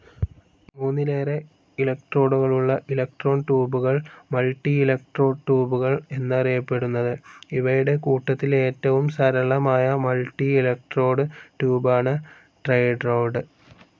മൂന്നിലേറെ ഇലക്ട്രോഡുകളുള്ള ഇലക്ട്രോൺ ട്യൂബുകൾ, മൾട്ടിഇലക്ട്രോഡ് ട്യൂബുകൾ എന്നാണറിയപ്പെടുന്നത്. ഇവയുടെ കൂട്ടത്തിൽ ഏറ്റവും സരളമായ മൾട്ടിഇലക്ട്രോഡ് ട്യൂബാണ് ടെട്രോഡ്.